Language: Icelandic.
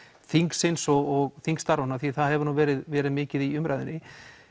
þingsins og þingstarfa því það hefur nú verið verið mikið í umræðunni